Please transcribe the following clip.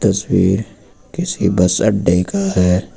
तस्वीर किसी बस अड्डे का है।